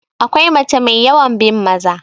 akwai mace mai yawan bin Maza